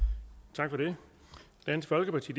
tak for det dansk folkeparti